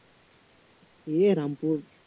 এই রামপুর